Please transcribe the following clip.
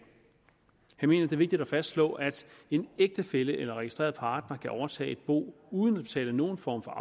jeg mener det er vigtigt at fastslå at en ægtefælle eller registreret partner kan overtage et bo uden at betale nogen form for